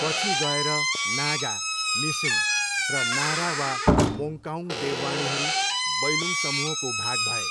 पछि गएर नागा, मिसिङ र नारा वा मोङ्काउङ देववाणीहरू बैलुङ समूहको भाग भए।